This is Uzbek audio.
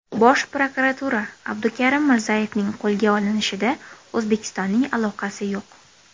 Bosh prokuratura: Abdukarim Mirzayevning qo‘lga olinishida O‘zbekistonning aloqasi yo‘q.